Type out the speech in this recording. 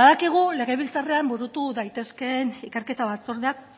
badakigu legebiltzarrean burutu daitezkeen ikerketa batzordeak